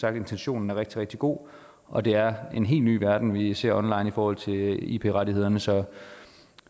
er intentionen rigtig rigtig god og det er en helt ny verden vi ser online i forhold til ip rettighederne så